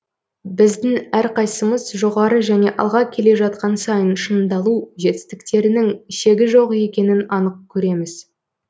біздің әрқайсымыз жоғары және алға келе жатқан сайын шыңдалу жетістіктерінің шегі жоқ екенін анық көреміз